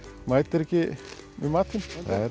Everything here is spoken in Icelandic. mætir ekki með matinn